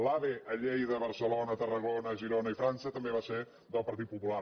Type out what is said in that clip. l’ave a lleida barcelona tarrago·na girona i frança també va ser del partit popular